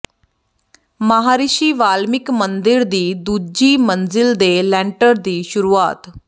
ਮਹਾਂਰਿਸ਼ੀ ਵਾਲਮੀਕਿ ਮੰਦਿਰ ਦੀ ਦੂਜੀ ਮੰਜ਼ਿਲ ਦੇ ਲੈਂਟਰ ਦੀ ਸ਼ੁਰੂਆਤ